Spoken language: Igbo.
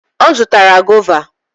Ọ zụtaara goova.